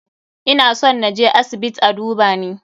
Ina son na je asibiit a duba ni.